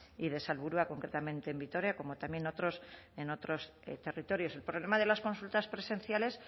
y de salburua concretamente en vitoria como también otros en otros territorios el problema de las consultas presenciales